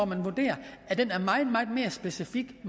man vurderer er meget mere specifikt